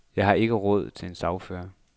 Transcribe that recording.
Jeg har ikke råd til en sagfører.